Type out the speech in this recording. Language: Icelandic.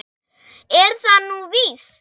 Er það nú víst?